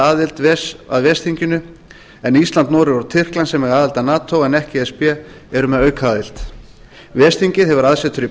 aðild að ves þinginu en ísland noregur og tyrkland sem eiga aðild að nato en ekki e s b eru með aukaaðild ves þingið hefur aðsetur í